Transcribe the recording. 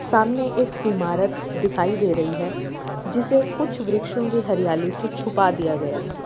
सामने एक इमारत दिखाई दे रही है जिसे कुछ वृक्षों के हरियाली से छुपा दिया गया है।